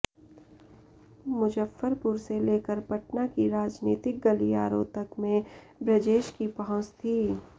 मुजफ्फरपुर से लेकर पटना की राजनीतिक गलियारों तक में ब्रजेश की पहुंच थी